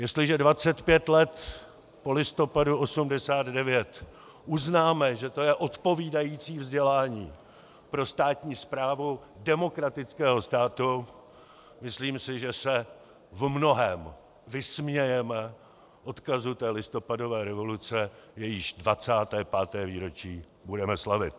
Jestliže 25 let po listopadu 1989 uznáme, že to je odpovídající vzdělání pro státní správu demokratického státu, myslím si, že se v mnohém vysmějeme odkazu té listopadové revoluce, jejíž 25. výročí budeme slavit.